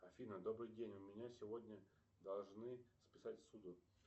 афина добрый день у меня сегодня должны списать ссуду